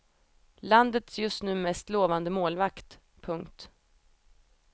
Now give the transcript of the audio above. Landets just nu mest lovande målvakt. punkt